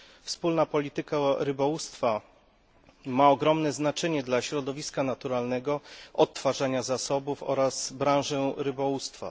Wspólna Polityka Rybołówstwa ma ogromne znaczenie dla środowiska naturalnego, odtwarzania zasobów oraz branży rybołówstwa.